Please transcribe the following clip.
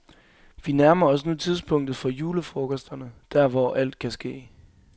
Vi nærmer os nu tidspunktet for julefrokosterne, der hvor alt kan ske.